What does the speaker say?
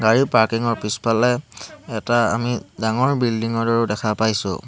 গাড়ী পৰ্কিং ৰ পিছফালে এটা আমি ডাঙৰ বিল্ডিং ৰ দৰেও দেখা পাইছোঁ।